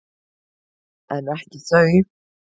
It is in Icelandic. En ekki þau.